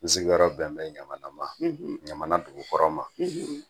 N sigiyɔrɔ bɛn bɛ ɲamana ma ɲamana dugukɔrɔ ma